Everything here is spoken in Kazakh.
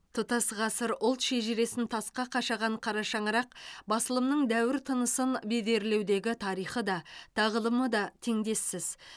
тұтас ғасыр ұлт шежіресін тасқа қашаған қарашаңырақ басылымның дәуір тынысын бедерлеудегі тарихы да тағылымы да теңдессіз